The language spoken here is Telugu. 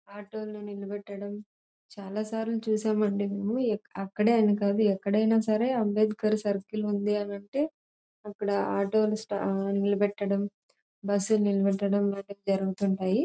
ఆటో నే నిలబెడతాడం చాల సార్లు చూసాం అండి మేము అక్కడే అని కాదు ఎక్కడైనా సరే అబ్దేకర్ సర్కిల్ ఉంది అని అంటే అక్కడ ఆటో ని నిలబెట్టడం బస్సు నే నిలబెట్టడం వంటివి జరుగుతుంటాయి.